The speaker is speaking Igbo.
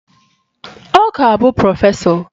Ọ ga-abụ prọfesọ